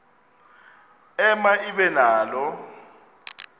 ema ibe nalo